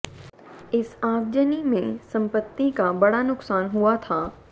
इस आगजनी में संपत्ति का बड़ा नुकसान हुआ था